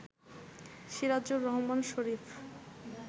Sirajur Rahman Sharif